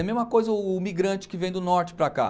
É a mesma coisa o o migrante que vem do norte para cá.